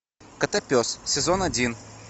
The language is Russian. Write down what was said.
котопес сезон один